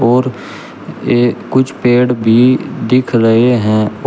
और ये कुछ पेड़ भी दिख रहे हैं।